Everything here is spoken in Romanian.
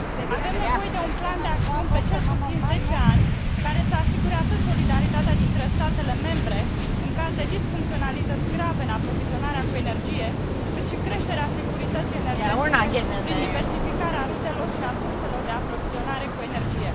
Avem nevoie de un plan de acțiuni pe cel puțin zece ani, care să asigure atât solidaritatea dintre statele membre în caz de disfuncționalități grave în aprovizionarea cu energie, cât și creșterea securității energetice prin diversificarea rutelor și a surselor de aprovizionare cu energie.